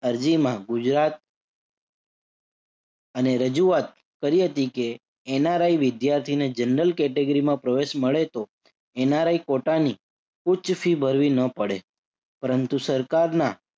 અરજીમાં ગુજરાત અને રજુઆત કરી હતી કે NRI વિદ્યાર્થીને general category માં પ્રવેશ મળે તો NRI quota ની ઉચ્ચ ફી ભરવી ન પડે. પરંતુ સરકારના